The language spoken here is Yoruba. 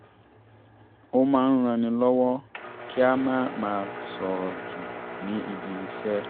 ó máa ń ran ni lọ́wọ́ kí a má máa sọ̀rọ̀ jù ní ibi-iṣẹ́